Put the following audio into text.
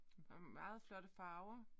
Og meget flotte farver